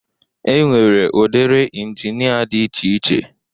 E nwere udiri ịnginia dị iche iche